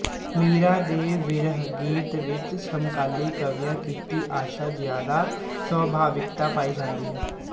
ਮੀਰਾ ਦੇ ਵਿਰਹ ਗੀਤਾਂ ਵਿੱਚ ਸਮਕਾਲੀ ਕਵੀਆਂ ਕੀਤੀ ਆਸ਼ਾ ਜਿਆਦਾ ਸਵਾਭਾਵਿਕਤਾ ਪਾਈ ਜਾਂਦੀ ਹੈ